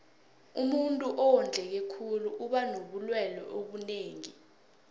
umuntuu owondleke khulu uba nobulelwe obunengi